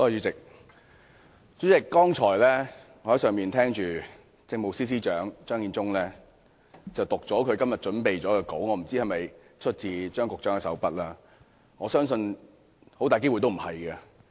主席，我剛才在樓上聽政務司司長張建宗讀出今天預備的發言稿，我不知道那是否出自張司長的手筆，但我相信很大機會不是。